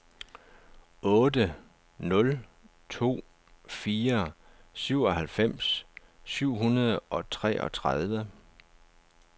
otte nul to fire syvoghalvfems syv hundrede og treogtredive